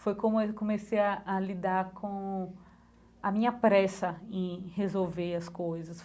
Foi como eu comecei a a lidar com a minha pressa em resolver as coisas.